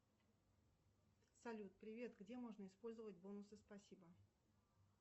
салют привет где можно использовать бонусы спасибо